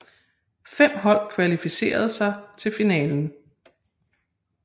Fem hold kvalificerede sig til finalen